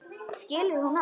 Skilur hún allt?